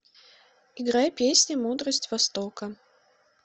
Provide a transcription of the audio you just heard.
играй песня мудрость востока